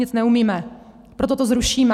Nic neumíme, proto to zrušíme.